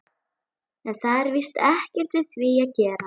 En það var víst ekkert við því að gera.